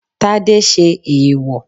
Tade ṣe eèwò